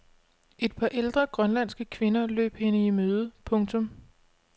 Et par ældre grønlandske kvinder løb hende i møde. punktum